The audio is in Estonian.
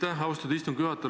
Aitäh, asutatud istungi juhataja!